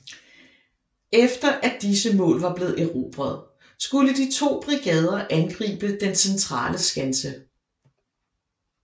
Efter at disse mål var blevet erobret skulle de to brigader angribe den centrale skanse